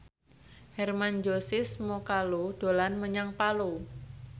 Hermann Josis Mokalu dolan menyang Palu